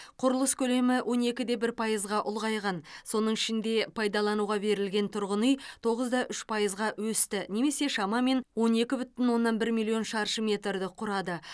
құрылыс көлемі он екі де бір пайызға ұлғайған соның ішінде пайдалануға берілген тұрғын үй тоғыз да үш пайызға өсті немесе шамамен он екі бүтін оннан бір миллион шаршы метрді құрады